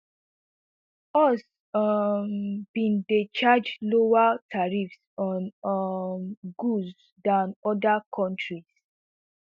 us um bin dey charge lower tariffs on um goods dan oda kontri